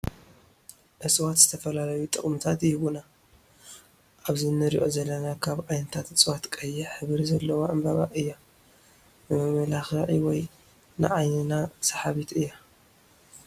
እፅዋት ዝተፈላለዩ ጠቅምታት ይህቡና ኣብዚ እንረኣ ዘለና ካብ ዓይነታት እፅዋት ቀይሕ ሕብሪ ዘለዋ ዕበባ እያ ንመመላክዒ ወይ ንዓይንና ሰሓቢት እያ።